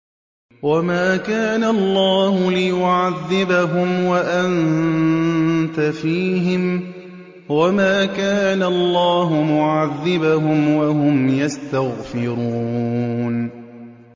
وَمَا كَانَ اللَّهُ لِيُعَذِّبَهُمْ وَأَنتَ فِيهِمْ ۚ وَمَا كَانَ اللَّهُ مُعَذِّبَهُمْ وَهُمْ يَسْتَغْفِرُونَ